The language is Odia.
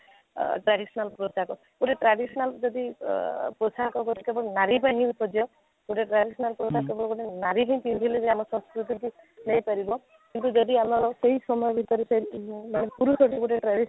ଅଃ traditional ପୋଷାକ ଗୋଟେ traditional ଯଦି ଅ ପୋଷାକ କେବଳ ନାରୀ ପାଇଁ ହିଁ ଶଯ୍ୟ ଗୋଟେ traditional traditional ପୋଷାକ ଗୋଟେ ନାରୀ ହିଁ ପିନ୍ଧିଲେ ଯେ ଆମ ସଂସ୍କୃତି କି ନେଇ ପାରିବ କିନ୍ତୁ ଯଦି ଆମର ସେହି ସମୟ ଭିତରେ ସେଇ ପୁରୁଷକୁ ଗୋଟେ